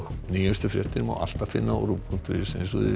nýjustu fréttir má alltaf finna á RÚV punktur is